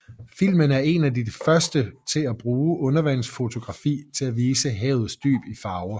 Filmen er en af de første til at bruge undervandsfotografi til at vise havets dyb i farver